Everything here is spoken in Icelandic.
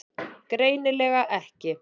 Greinilega ekki.